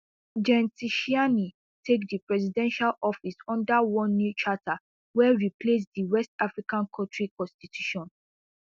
gen tchiani take di presidential office under one new charter wey replace di west african kontri constitution